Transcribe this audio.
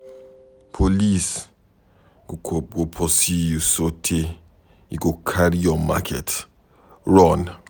Police go pursue you sotee you go carry your market run.